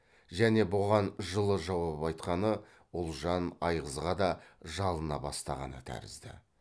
және бұған жылы жауап айтқаны ұлжан айғызға да жалына бастағаны тәрізді